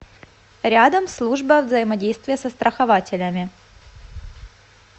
рядом служба взаимодействия со страхователями